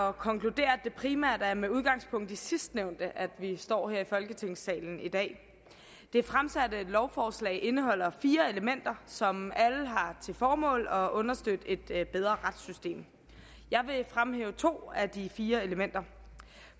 at konkludere at det primært er med udgangspunkt i sidstnævnte at vi står her i folketingssalen i dag det fremsatte lovforslag indeholder fire elementer som alle har til formål at understøtte et bedre retssystem jeg vil fremhæve to af de fire elementer